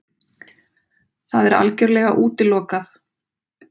Það er algjörlega útilokað!